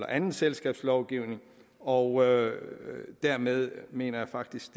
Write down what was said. anden selskabslovgivning og dermed mener jeg faktisk